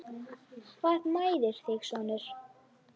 Hvað mæðir þig sonur?